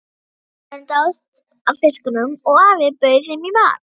Strákarnir dáðust að fiskunum og afinn bauð þeim í mat.